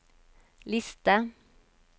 liste